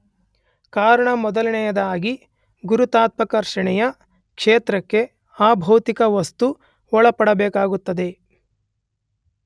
ಕಾರಣ ಮೊದಲನೆಯದಾಗಿ ಗುರುತ್ವಾಕರ್ಷಣೆಯ ಕ್ಷೇತ್ರಕ್ಕೆ ಆ ಭೌತಿಕ ವಸ್ತು ಒಳಪಡಬೇಕಾಗುತ್ತದೆ.